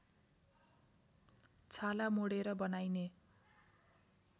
छाला मोडेर बनाइने